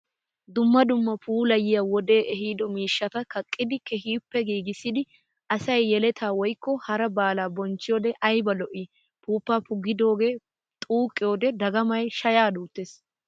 Dumma dumma puulayiya wode ehiido miishshatta kaqqidi keehippe giigissidi asay yelatta woykko hara baala bonchchiyoode ayba lo'i! Puupa puggidoge xuuqiyoode dagamay shaya duutes!